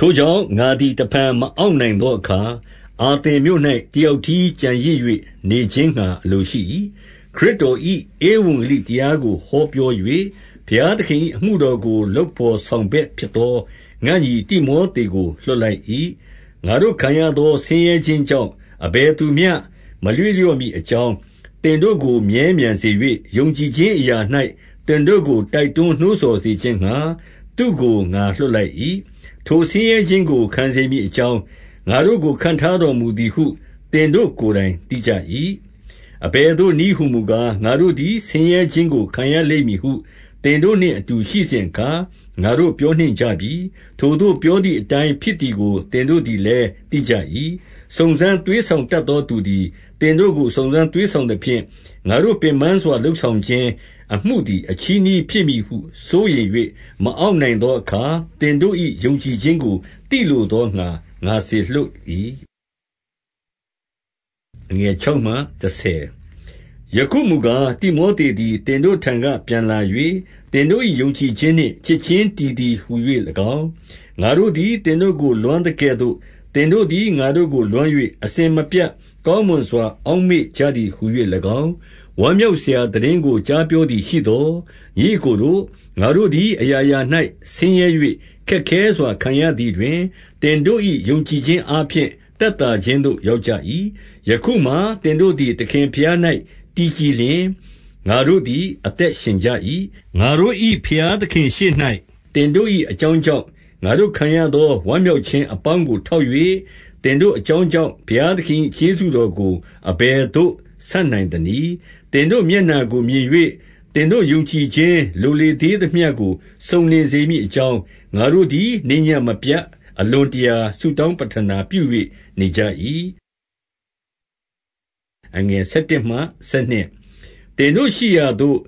ထိုကြောင့် ငါသည် တဖန်မအောင့်နိုင်သောအခါ၊ အာသင်မြို့၌ တယောက်တည်းကျန်ရစ်၍ နေခြင်းငှါ အလိုရှိ၏။ 2 ခရစ်တော်၏ ဧဝံဂေလိတရားကို ဟောပြော၍၊ ဘုရားသခင်၏ အမှုတော်ကို လုပ်ဘော်ဆောင်ဘက် ဖြစ်သော ငါ့ညီတိမောသေကို လွှတ်လိုက်၏။ 3 ငါတို့ခံရသော ဆင်းရဲခြင်းကြောင့် အဘယ်သူမျှ မရွေ့လျော့မည်အကြောင်း၊ သင်တို့ကိုမြဲမြံစေ၍၊ ယုံကြည်ခြင်းအရာ၌ သင်တို့ကို တိုက်တွန်းနှိုးဆော်စေခြင်းငှါ သူ့ကို ငါလွှတ်လိုက်၏။ 4 ထိုဆင်းရဲခြင်းကို ခံစေမည်အကြောင်း ၊ ငါတို့ကို ခန့်ထားတော်မူသည်ဟု သင်တို့ကိုယ်တိုင် သိကြ၏။ အဘယ်သို့နည်းဟူမူကား၊ ငါတို့သည် ဆင်းရဲခြင်းကို ခံရလိမ့်မည်ဟု သင်တို့နှင့် အတူရှိစဉ်အခါ ငါတို့ပြောနှင့် ကြပြီ။ ထိုသို့ပြောသည်အတိုင်း ဖြစ်သည်ကို သင်တို့လည်း သိကြ၏။ 5 စုံစမ်းသွေးဆောင်တတ်သောသူသည် သင်တို့ကို စုံစမ်းသွေးဆောင်သဖြင့်၊ ငါတို့ပင်ပန်းစွာ လုပ်ဆောင်ခြင်းအမှုသည် အချည်းနှီးဖြစ်မည်ဟု စိုးရိမ်၍ မအောင့်နိုင်သောအခါ သင်တို့၏ ယုံကြည်ခြင်းကို သိလိုသောငှါ ငါစေလွှတ်၏။ 6 ယခုမူကား၊ တိမောသေသည် သင်တို့ထံက ပြန်လာ၍၊ သင်တို့၏ ယုံကြည်ခြင်းနှင့် ချစ်ခြင်းတည် သည်ဟူ၍၎င်း၊ ငါတို့သည် သင်တို့ကို လွမ်းသကဲ့သို့ သင်တို့သည် ငါတို့ကို လွမ်း၍၊ အစဉ်မပြတ် ကောင်းမွန် စွာ အောက်မေ့ကြသည်ဟူ၍၎င်း၊ ဝမ်းမြောက်စရာ သိတင်းကို ကြားပြောသည်ရှိသော်၊ 7 ညီအစ်ကိုတို့၊ ငါတို့သည် အရာရာ၌ဆင်းရဲ၍ ခက်ခဲစွာခံရသည်တွင်၊ သင်တို့၏ ယုံကြည်ခြင်းအားဖြင့် သက်သာခြင်းသို့ ရောက်ကြ၏။ 8 ယခုမှာ သင်တို့သည် သခင်ဘုရား၌ တည်ကြည်လျှင်၊ ငါတို့သည် အသက်ရှင်ကြ၏။ 9 ငါတို့၏ ဘုရားသခင်ရှေ့၌ သင်တို့၏အကြောင်းကြောင့် ငါတို့ခံရသော ဝမ်းမြောက်ခြင်းအပေါင်းကို ထောက်၍၊ သင်တို့အကြောင်းကြောင့် ဘုရားသခင်၏ ကျေးဇူးတော်ကို အဘယ်သို့ ဆပ်နိုင်သနည်း။ 10 သင်တို့မျက်နှာကိုမြင်၍၊ သင်တို့ယုံကြည်ခြင်း လိုသေးသမျှကို စုံလင်စေမည်အကြောင်း၊ ငါတို့သည် နေ့ညဉ့်မပြတ် အလွန်တရာ ဆုတောင်းပဋ္ဌာနာပြု၍ နေကြ၏။ 11 သင်တို့ရှိရာသို့